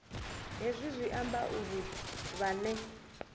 hezwi zwi amba uri vhane